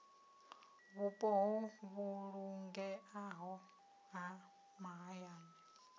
vhupo ho vhulungeaho ha mahayani